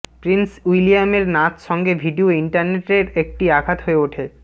Prince উইলিয়ামের নাচ সঙ্গে ভিডিও ইন্টারনেট এর একটি আঘাত হয়ে ওঠে